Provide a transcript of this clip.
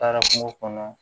Taara kungo kɔnɔ